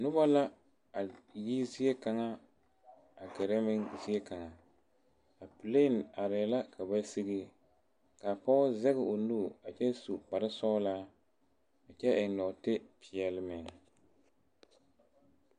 Noba la a yi zie kaŋa a la gerɛ zie kaŋa a plane are la ka ba sigi ka pɔge zage o nu a kyɛ su kpare sɔglaa a kyɛ eŋ nɔɔte pɛɛle meŋ